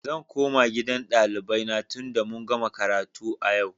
Zan koma gidan ɗalibai na tunda mun gama karatu a yau.